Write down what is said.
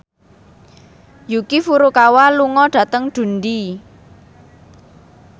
Yuki Furukawa lunga dhateng Dundee